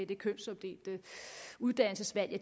det kønsopdelte uddannelsesvalg jo